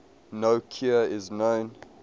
no cure is known